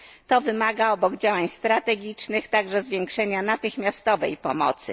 To wymaga, obok działań strategicznych, także zwiększenia natychmiastowej pomocy.